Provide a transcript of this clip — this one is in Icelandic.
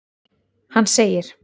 Hann segir:.